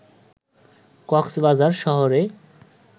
কক্সবাজার শহরে